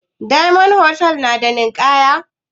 Diyamond hotal na da ninkaya?